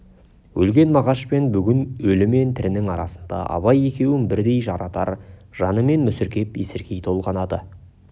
өлген мағаш пен бүгін өлі мен тірінің арасындағы абай екеуін бірдей жарадар жанымен мүсіркеп есіркей толғанады